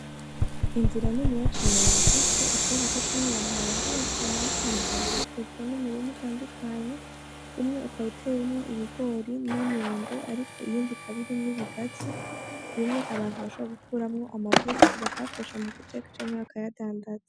Inzira nini ya cane yagutse ishobora gucamwo abantu barenga batanu hamika bikikujwe n'imirimu itandukanye umwe ukawuteye umwo ibigori nyamyembe, ariko iyindi kabiri mw'ibigazi bimwe abantu basha gukuramwo amavuta bakayakoresha mu guteka cenkeyakayadandada.